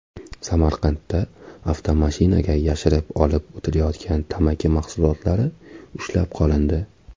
Samarqandda avtomashinaga yashirib olib o‘tilayotgan tamaki mahsulotlari ushlab qolindi.